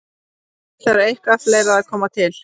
Því þarf eitthvað fleira að koma til.